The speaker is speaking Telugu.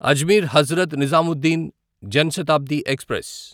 అజ్మీర్ హజ్రత్ నిజాముద్దీన్ జన్ శతాబ్ది ఎక్స్ప్రెస్